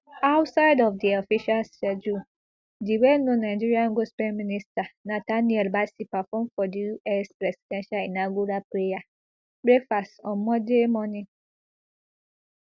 outside of di official schedule di wellknown nigerian gospel minister nathaniel bassey perform for di us presidential inaugural prayer breakfast on monday morning